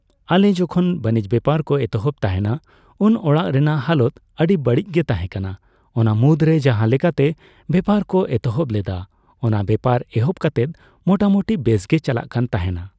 ᱟᱞᱮ ᱡᱚᱠᱷᱚᱱ ᱵᱟᱱᱤᱡ ᱵᱮᱯᱟᱨ ᱠᱚ ᱮᱛᱚᱦᱚᱵ ᱛᱟᱦᱮᱱᱟ ᱩᱱ ᱚᱲᱟᱜ ᱨᱮᱱᱟᱜ ᱦᱟᱞᱚᱛ ᱟᱹᱰᱤ ᱵᱟᱲᱤᱪ ᱜᱮ ᱛᱟᱦᱮᱸ ᱠᱟᱱᱟ ᱚᱱᱟᱢᱩᱫᱽᱨᱮ ᱡᱟᱦᱟᱸ ᱞᱮᱠᱟᱛᱮ ᱵᱮᱯᱟᱨ ᱠᱚ ᱮᱛᱚᱦᱚᱵ ᱞᱮᱫᱟ ᱚᱱᱟ ᱵᱮᱯᱟᱨ ᱮᱦᱚᱯ ᱠᱟᱛᱮᱫ ᱢᱚᱴᱟ ᱢᱚᱴᱤ ᱵᱮᱥᱜᱤ ᱪᱟᱞᱟᱜ ᱠᱟᱱᱛᱟᱦᱮᱱᱟ